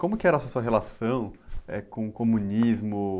Como que era a sua relação, eh, com o comunismo?